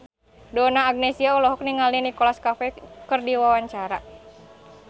Donna Agnesia olohok ningali Nicholas Cafe keur diwawancara